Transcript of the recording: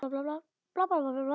Nei, hún kemst ekkert að.